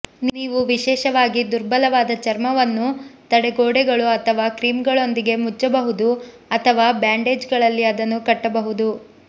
ನೀವು ವಿಶೇಷವಾಗಿ ದುರ್ಬಲವಾದ ಚರ್ಮವನ್ನು ತಡೆಗೋಡೆಗಳು ಅಥವಾ ಕ್ರೀಮ್ಗಳೊಂದಿಗೆ ಮುಚ್ಚಬಹುದು ಅಥವಾ ಬ್ಯಾಂಡೇಜ್ಗಳಲ್ಲಿ ಅದನ್ನು ಕಟ್ಟಬಹುದು